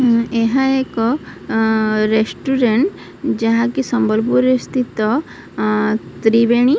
ଉଁ ଏହା ଏକ ଆଁ ରେଷ୍ଟୁରାଣ୍ଟ ଯାହାକି ସମ୍ବଲପୁର ସ୍ଥିତ ଅଁ ତ୍ରିବେଣୀ।